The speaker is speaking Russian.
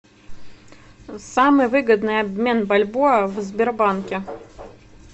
самый выгодный обмен бальбоа в сбербанке